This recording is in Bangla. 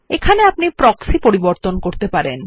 এখানে আপনি প্রক্সি পরিবর্তন করতে পারবেন